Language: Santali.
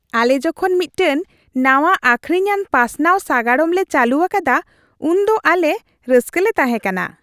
ᱟᱞᱮ ᱡᱚᱠᱷᱚᱱ ᱢᱤᱫᱴᱟᱝ ᱱᱟᱶᱟ ᱟᱹᱠᱷᱨᱤᱧᱟᱱ ᱯᱟᱥᱱᱟᱣ ᱥᱟᱜᱟᱲᱚᱢ ᱞᱮ ᱪᱟᱹᱞᱩ ᱟᱠᱟᱫᱟ, ᱩᱱᱫᱚ ᱟᱞᱮ ᱨᱟᱹᱥᱠᱟᱞᱮ ᱛᱟᱦᱮᱸ ᱠᱟᱱᱟ ᱾